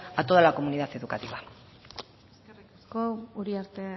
a toda la comunidad educativa eskerrik asko uriarte